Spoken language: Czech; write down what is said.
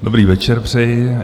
Dobrý večer přeji.